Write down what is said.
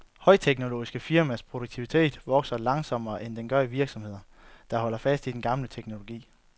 Højteknologiske firmaers produktivitet vokser langsommere, end den gør i virksomheder, der holder fast i den gamle teknologi.